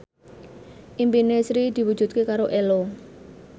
impine Sri diwujudke karo Ello